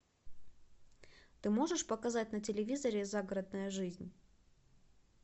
ты можешь показать на телевизоре загородная жизнь